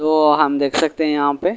तो हम देख सकते हैं यहां पे--